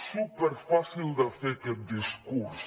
superfàcil de fer aquest discurs